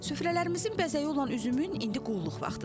Süfrələrimizin bəzəyi olan üzümün indi qulluq vaxtıdır.